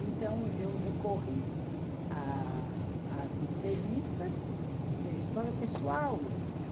Então, eu recorri a a às entrevistas, que é história pessoal mesmo.